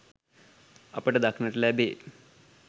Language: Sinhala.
අපට දක්නට ලැබේ.